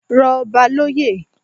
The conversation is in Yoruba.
Rọ ọba loyè